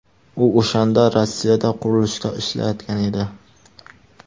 U o‘shanda Rossiyada qurilishda ishlayotgan edi.